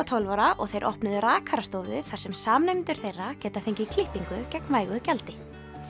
tólf ára og þeir opnuðu rakarastofu þar sem samnemendur þeirra geta fengið klippingu gegn vægu gjaldi